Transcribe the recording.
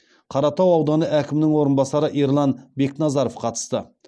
қаратау ауданы әкімінің орынбасары ерлан бекназаров қатысты